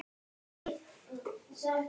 Honum þurfa að berast boðin í kvöld.